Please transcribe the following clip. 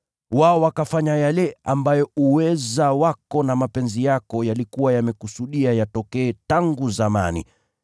Wao wakafanya yale ambayo uweza wako na mapenzi yako yalikuwa yamekusudia yatokee tangu zamani.